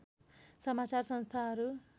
समाचार संस्थाहरू